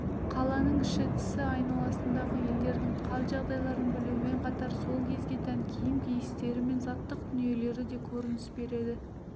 қаланың іші-тысы айналасындағы елдердің хал-жағдайларын білумен қатар сол кезге тән киім киістері мен заттық дүниелері де көрініс береді